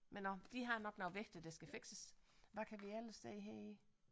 Men nåh de har nok noget vigtigt der skal fikses hvad kan vi ellers se her